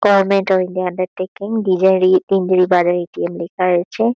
Government of India undertaking ATM. লেখা রয়েছে।